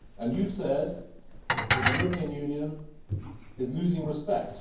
You have said that the European Union is losing respect.